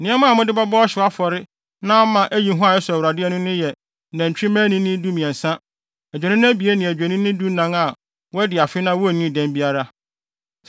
Nneɛma a mode bɛbɔ ɔhyew afɔre na ama ayi hua a ɛsɔ Awurade ani no yɛ nantwimma anini dumiɛnsa, adwennini abien ne adwennini dunan a wɔadi afe na wonnii dɛm biara.